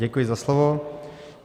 Děkuji za slovo.